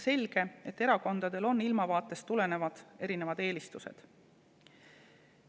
Selge, et erakondadel on ilmavaatest tulenevalt erinevad eelistused.